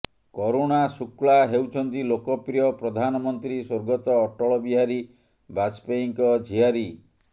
କରୁଣା ଶୁକ୍ଲା ହେଉଛନ୍ତି ଲୋକପ୍ରିୟ ପ୍ରଧାନମନ୍ତ୍ରୀ ସ୍ୱର୍ଗତ ଅଟଳ ବିହାରୀ ବାଜପେୟୀଙ୍କ ଝିଆରୀ